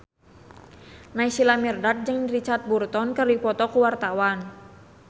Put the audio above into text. Naysila Mirdad jeung Richard Burton keur dipoto ku wartawan